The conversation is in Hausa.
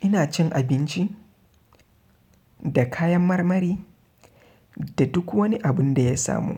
Ina cin abinci da kayan marmari da duk wani abun da ya samu